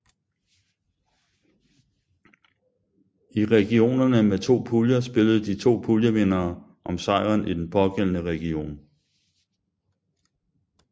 I regionerne med to puljer spillede de to puljevindere om sejren i den pågældende region